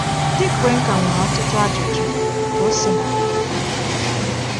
Ndị Cuenca nwere ọtụtụ ajụjụ, ka o si na adị.